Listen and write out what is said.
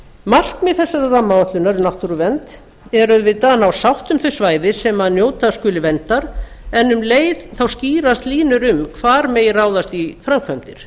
markmið þessarar rammaáætlunar um náttúruvernd er auðvitað að ná sátt um þau svæði sem njóta skulu verndar en um leið skýrast línur um hvar ráðast megi ráðast í framkvæmdir